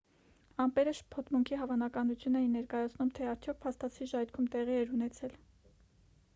ամպերը շփոթմունքի հավանականություն էին ներկայացնում թե արդյոք փաստացի ժայթքում տեղի էր ունեցել